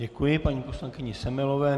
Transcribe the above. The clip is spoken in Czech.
Děkuji paní poslankyni Semelové.